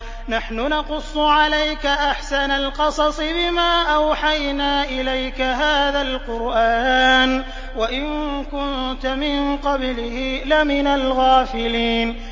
نَحْنُ نَقُصُّ عَلَيْكَ أَحْسَنَ الْقَصَصِ بِمَا أَوْحَيْنَا إِلَيْكَ هَٰذَا الْقُرْآنَ وَإِن كُنتَ مِن قَبْلِهِ لَمِنَ الْغَافِلِينَ